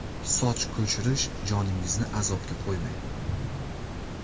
Soch ko‘chirish – joningizni azobga qo‘ymang!.